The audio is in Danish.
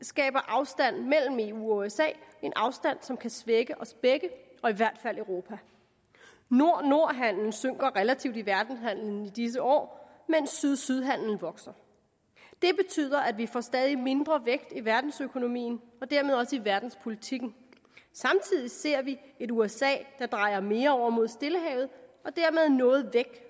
skaber afstand mellem eu og usa en afstand som kan svække os begge og i hvert fald europa nord nord handelen synker relativt i verdenshandelen i disse år mens syd syd handelen vokser det betyder at vi får stadig mindre vægt i verdensøkonomien og dermed også i verdenspolitikken samtidig ser vi et usa der drejer mere over mod stillehavet og dermed noget væk